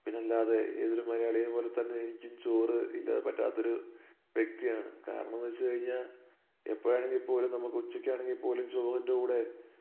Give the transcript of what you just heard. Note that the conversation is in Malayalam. പിന്നല്ലാതെ ഏതൊരു മലയാളിയേയും പോലെ തന്നെ എനിക്കും ചോറ് ഇല്ലാതെ പറ്റാത്തൊരു വ്യക്തിയാണ് കാരണംന്ന് വെച്ചു കഴിഞ്ഞാൽ എപ്പോഴാണെങ്കി പോലും നമുക്ക് ഉച്ചയ്ക്കണെങ്കിൽ പോലും ചോറിൻ്റെ കൂടെ